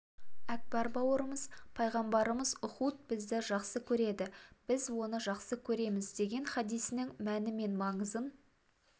әкбар бауырымыз пайғамбарымыз ұхуд бізді жақсы көреді біз оны жақсы көреміз деген хадисінің мәні мен маңызын